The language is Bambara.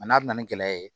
A n'a na ni gɛlɛya ye